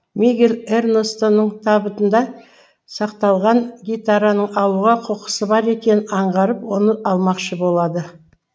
мигель эрнестоның табытында сақталған гитараны алуға құқысы бар екенін аңғарып оны алмақшы болады